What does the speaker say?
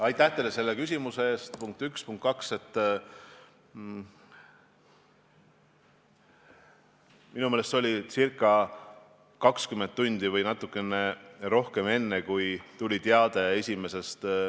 Aga jah, kui te küsite just erasektoris kohustuslike piirangute seadmise kohta, siis tõsi on see, et eriolukorras saab tõesti seaduse järgi kehtestada viibimiskeelu ja muud liikumispiirangud, saab kohustada isikuid eriolukorra piirkonnast või selle osast lahkuma ning keelata eriolukorra piirkonnas või selle osas viibida.